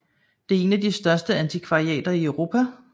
Det er en af de største antikvariater i Europa